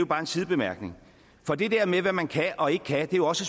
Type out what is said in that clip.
bare en sidebemærkning for det med hvad man kan og ikke kan er jo også